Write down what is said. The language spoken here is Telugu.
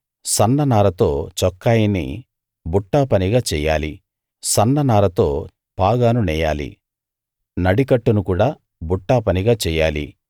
సన్న నారతో చొక్కాయిని బుట్టాపనిగా చెయ్యాలి సన్న నారతో పాగాను నేయాలి నడికట్టును కూడా బుట్టాపనిగా చెయ్యాలి